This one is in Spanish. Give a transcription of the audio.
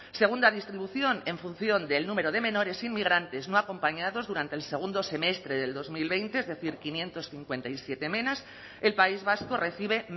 segunda distribución en función del número de menores inmigrantes no acompañados durante el segundo semestre del dos mil veinte es decir quinientos cincuenta y siete menas el país vasco recibe